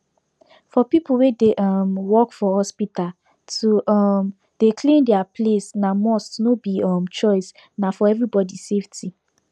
for people wey dey um work for hospital to um dey clean their place na must no be um choice na for everybody safety